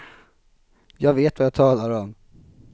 Jag vet vad jag talar om.